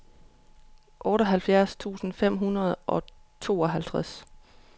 otteoghalvfjerds tusind fem hundrede og tooghalvtreds